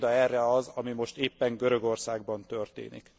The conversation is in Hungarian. Példa erre az, ami most éppen Görögországban történik.